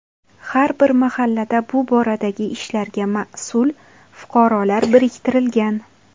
Har bir mahallada bu boradagi ishlarga mas’ul fuqarolar biriktirilgan.